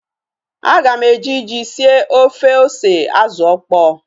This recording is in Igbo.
Aga m eji ji sie ofe ose azụ okpo